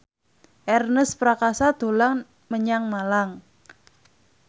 Ernest Prakasa dolan menyang Malang